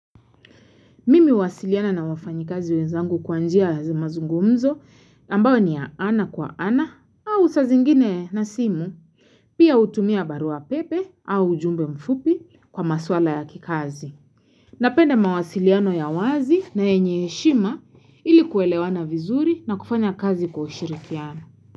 Mimi huwasiliana na wafanyikazi wenzangu kwa njia ya mazungumzo ambayo ni ya ana kwa ana au sa zingine na simu, pia hutumia barua pepe au ujumbe mfupi kwa maswala ya kikazi. Napenda mawasiliano ya wazi na yenye heshima ili kuelewana vizuri na kufanya kazi kwa ushirikiano.